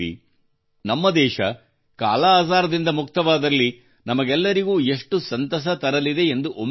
ನಮ್ಮ ದೇಶ ಕಾಲಾಅಜಾರ್ ದಿಂದ ಮುಕ್ತವಾದಲ್ಲಿ ನಮಗೆಲ್ಲರಿಗೂ ಎಷ್ಟು ಸಂತಸ ತರಲಿದೆ ಎಂದು ಒಮ್ಮೆ ಯೋಚಿಸಿ